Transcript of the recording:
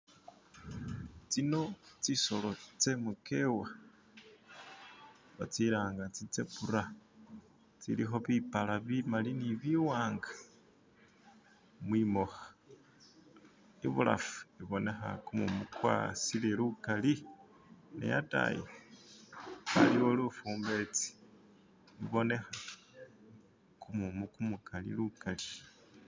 tsino tsisolo tsemukewa batsilanga tsitsebura tsilikho bipala bimali ni biwanga mwimoka ibulafu ibonekha kumumu kwasiile lukali ne ataayi aliwo lufumbetsi lubonekha kumumu kumukali lukali.